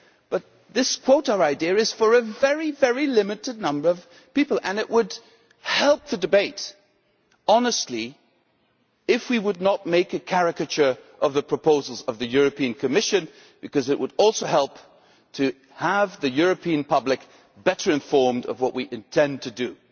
But this quota idea is for a very, very limited number of people, and it would help the debate, honestly, if we did not make a caricature of the proposals of the Commission, because it would also help to have the European public better informed of what we intend to do.